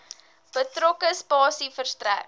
betrokke spasie verstrek